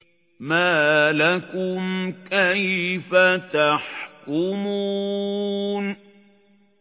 مَا لَكُمْ كَيْفَ تَحْكُمُونَ